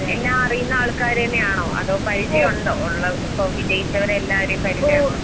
എല്ലാ അറിയുന്ന ആൾക്കാര്തന്നെയാണോ അതോ പരിചയൊണ്ടൊ ഒള്ള സൊ വിജയിച്ചവരെയെല്ലാവരെയും പരിചയൊണ്ടോ?